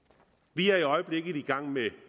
vi er i øjeblikket i gang med